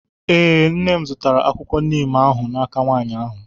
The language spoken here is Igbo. ee, nne m zụtara akwụkwọ Neem ahụ n'aka nwaanyị ahụ